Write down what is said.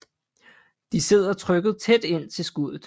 De sidder trykket tæt ind til skuddet